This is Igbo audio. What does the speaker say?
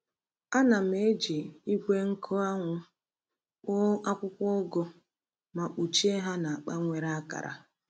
Ana m eji igwe nkụ anwụ kpoo akwụkwọ ugu ma kpuchie ha na akpa nwere akara.